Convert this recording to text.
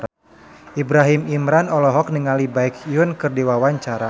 Ibrahim Imran olohok ningali Baekhyun keur diwawancara